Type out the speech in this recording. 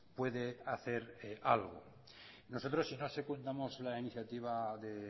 puede hacer algo nosotros si no secundamos la iniciativa de